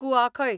कुआखय